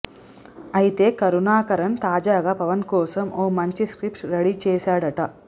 అయితే కరుణాకరన్ తాజాగా పవన్ కోసం ఓ మంచి స్క్రిప్ట్ రెడీ చేశాడట